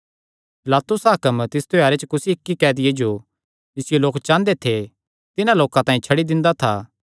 पिलातुस हाकम तिस त्योहारे च कुसी इक्की कैदिये जो जिसियो लोक चांह़दे थे तिन्हां लोकां तांई छड्डी दिंदा था